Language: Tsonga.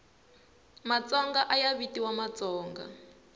matsonga ayavitiwa matsonga